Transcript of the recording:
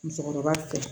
Musokɔrɔba fɛ